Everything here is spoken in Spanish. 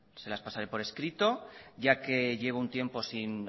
se las pasaré por escrito ya que llevo un tiempo sin